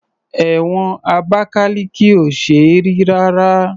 Ẹ̀wọ̀n Abakaliki ò ṣe é rí rárá.